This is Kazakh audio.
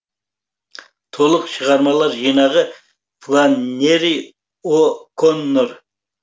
толық шығармалар жинағы фланнери о коннор